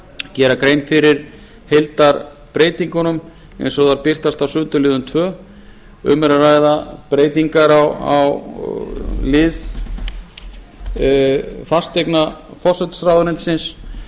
gera grein fyrir heildarbreytingunum eins og þær birtast á sundurliðun annars um er að ræða breytingar á lið fasteigna forsætisráðuneytisins